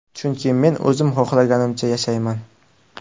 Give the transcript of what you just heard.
Chunki men o‘zim xohlaganimcha yashayman.